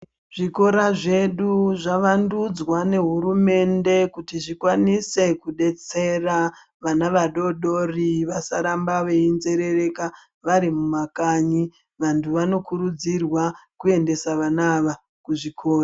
Zvikora zvedu zvavandudzwa nehurumende kuti zvikwanise kudetsera vana vadodori vasaramba veinzerereka vari mumakanyi, vantu vanokurudzirwa kuendesa vana ava kuzvikora.